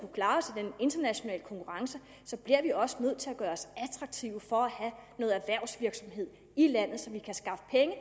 internationale konkurrence bliver vi også nødt til at gøre os attraktive for at have noget erhvervsvirksomhed i landet så vi kan skaffe penge